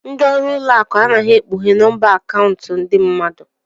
Ndị ọrụ ụlọ akụ anaghị ekpughe nọmba akaụntụ ndị mmadụ.